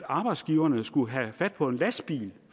arbejdsgiverne skulle have fat på en lastbil